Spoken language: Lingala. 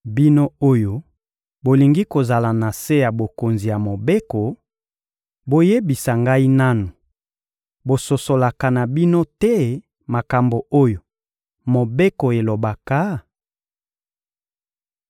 Bino oyo bolingi kozala na se ya bokonzi ya Mobeko, boyebisa ngai nanu, bososolaka na bino te makambo oyo Mobeko elobaka?